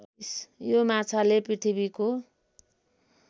यो माछाले पृथ्वीको